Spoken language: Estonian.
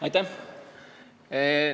Aitäh!